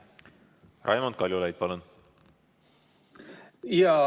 Raimond Kaljulaid, palun!